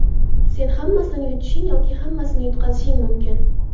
Sen hammasini yutishing yoki hammasini yutqazishing mumkin.